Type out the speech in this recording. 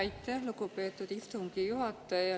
Aitäh, lugupeetud istungi juhataja!